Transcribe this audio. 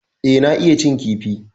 E, na iya cin kifi.